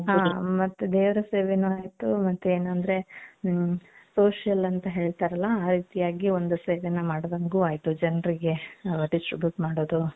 ಅ ದೇವರ ಸೇವೇನು ಆಯ್ತು ಮತ್ತೆ ಏನು ಅಂದ್ರೆ ಮ್ social ಅಂತ ಹೇಳ್ತಾರಲ್ಲ ಆ ರೀತಿಯಾಗಿ ಒಂದು ಸೇವೆನ ಮಾಡ್ದಂಗು ಆಯ್ತು ಜನರಿಗೆ distribute ಮಾಡೋದು .